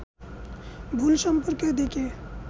ভুল সম্পর্কের দিকে